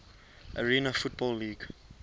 arena football league